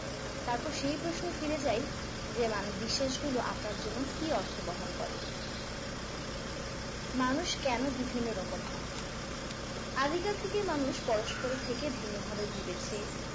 তারপর সেই প্রশ্নে ফিরে যাই যেমন বিশ্বাসগুলো আপনার জন্য কি অর্থ বহন করে মানুষ কেন বিভিন্ন রকম হয় আদিকাল থেকেই মানুষ পরস্পরের থেকে ভিন্ন ভাবে ভেবেছে